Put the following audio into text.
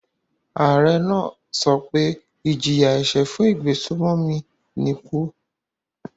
Ààrẹ náà sọ pé ìjìyà-ẹ̀ṣẹ̀ fún ìgbésùnmòmí ni ikú.